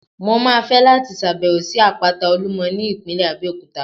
Mo máa fẹ́ láti ṣàbẹ̀wò sí Àpáta Olúmọ ní ìpínlẹ̀ Abẹ́òkúta.